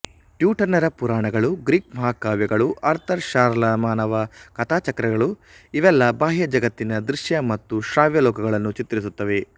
ಟ್ಯುಟನ್ನರ ಪುರಾಣಗಳು ಗ್ರೀಕ್ ಮಹಾಕಾವ್ಯಗಳು ಆರ್ಥರ್ ಷಾರ್ಲಮಾನನ ಕಥಾಚಕ್ರಗಳು ಇವೆಲ್ಲ ಬಾಹ್ಯಜಗತ್ತಿನ ದೃಶ್ಯ ಮತ್ತು ಶ್ರವ್ಯಲೋಕಗಳನ್ನು ಚಿತ್ರಿಸುತ್ತವೆ